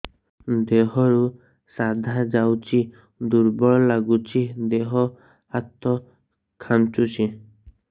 ଦେହରୁ ସାଧା ଯାଉଚି ଦୁର୍ବଳ ଲାଗୁଚି ଦେହ ହାତ ଖାନ୍ଚୁଚି